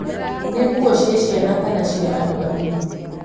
nĩ nguo cia ciana kana cia andũ agima